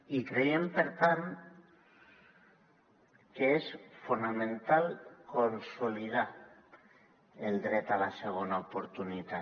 i creiem per tant que és fonamental consolidar el dret a la segona oportunitat